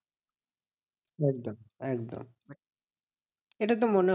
একদম একদম এটা তো মনে